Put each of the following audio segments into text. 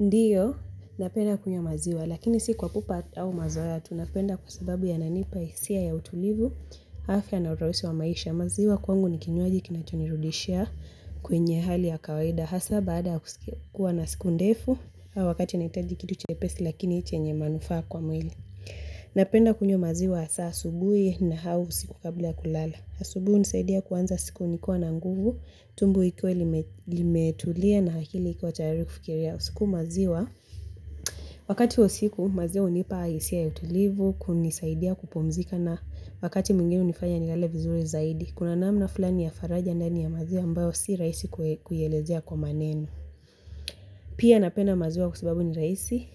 Ndiyo, napenda kunywa maziwa, lakini si kwa pupa au mazoea, tu napenda kwa sababu yananipa hisia ya utulivu, afya na urahisi wa maisha, maziwa kwangu ni kinywaji kinachonirudishia kwenye hali ya kawaida, hasa baada kuwa na siku ndefu, au wakati nahitaji kitu chepesi lakini chenye manufaa kwa mwili. Napenda kunywa maziwa saa asubuhi na au usiku kabla ya kulala. Asubuhi hunisaidia kuanza siku nikiwa na nguvu, tumbo ikiwa limetulia na akili ikiwa tayari kufikiria. Siku maziwa, wakati wa usiku maziwa hunipa hisia ya utulivu, kunisaidia kupumzika na wakati mwingine hunifanya nilale vizuri zaidi. Kuna namna fulani ya faraja ndani ya maziwa ambayo si rahisi kuielezea kwa maneno. Pia napenda maziwa kwa sababu ni rahisi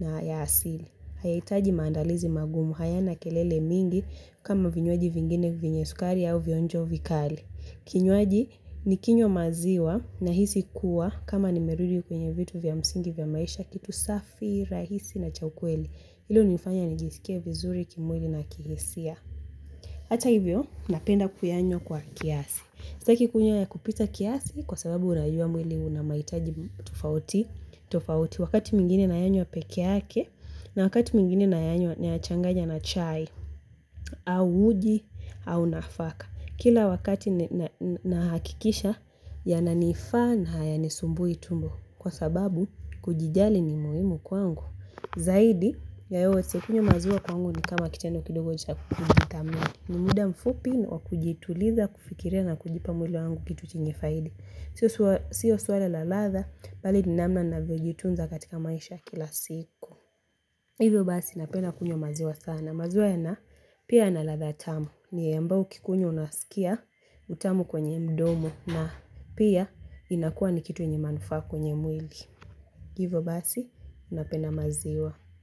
na ya asili. Haitaji maandalizi magumu hayana kelele mingi kama vinywaji vingine vyenye sukari au vionjo vikali. Kinywaji nikinywa maziwa nahisi kuwa kama nimerudi kwenye vitu vya msingi vya maisha kitu safi, rahisi na cha ukweli. Hilo hunifanya nijisikie vizuri kimwili na kihisia. Hata hivyo, napenda kuyanywa kwa kiasi. Sitaki kunywa ya kupita kiasi kwa sababu najua mwili una mahitaji tofauti. Tofauti. Wakati mwingine nayanywa peke yake na wakati mwingine nayanywa nayachanganya na chai au uji au nafaka kila wakati nahakikisha yananifaa na hayanisumbui tumbo kwa sababu kujijali ni muhimu kwangu zaidi ya yote kunywa maziwa kwangu ni kama kitendo kidogo cha kujithamini ni muda mfupi wa kujituliza kufikiria na kujipa mwili wangu kitu chenye faidi siyo swala la ladha bali ni namna navyojitunza katika maisha ya kila siku hivyo basi napenda kunywa maziwa sana maziwa yana pia yana ladha tamu ni ambao ukikunywa unasikia utamu kwenye mdomo na pia inakua ni kitu yenye manufaa kwenye mwili hivyo basi napenda maziwa.